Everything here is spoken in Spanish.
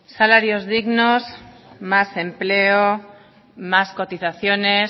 salarios dignos más empleo más cotizaciones